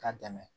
K'a dɛmɛ